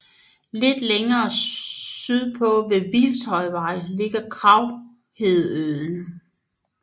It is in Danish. Lidt længere sydpå ved Hvilshøjvej ligger Kraghedesøen